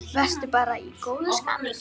Vertu bara í góðu skapi.